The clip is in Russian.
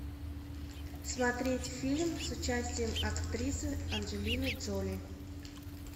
смотреть фильм с участием актрисы анджелины джоли